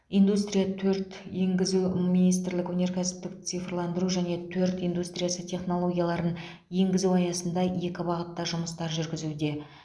индустрия төрт енгізу министрлік өнеркәсіпті цифрландыру және төрт индустриясы технологияларын енгізу аясында екі бағытта жұмыстар жүргізуде